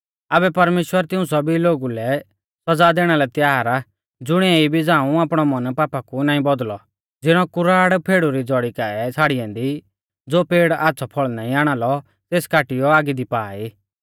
आबै परमेश्‍वर तिऊं सौभी लोगु लै सौज़ा दैणा लै त्यार आ ज़ुणीऐ इबी झ़ाऊं आपणौ मन पापा कु नाईं बौदुलदौ ज़िणौ कुराड़ पैडु री ज़ौड़ी काऐ छ़ाड़ी ऐन्दी ज़ो पेड़ आच़्छ़ौ फल़ नाईं आणालौ तेस काटियौ आगी दी पा ई